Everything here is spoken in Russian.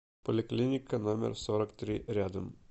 поликлиника номер сорок три рядом